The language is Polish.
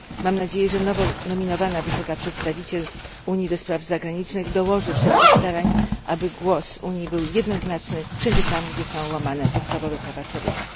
Mam nadzieję, że nowo nominowana wysoka przedstawiciel Unii do spraw zagranicznych dołoży wszelkich starań, aby głos Unii był jednoznaczny wszędzie tam, gdzie są łamane podstawowe prawa człowieka.